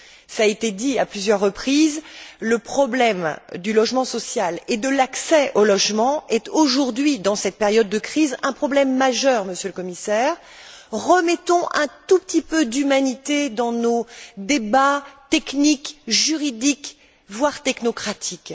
Cela a été dit à plusieurs reprises, le problème du logement social et de l'accès au logement est aujourd'hui, dans cette période de crise, un problème majeur, Monsieur le Commissaire. Remettons un tout petit peu d'humanité dans nos débats techniques, juridiques, voire technocratiques.